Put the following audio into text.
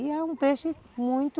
E é um peixe muito...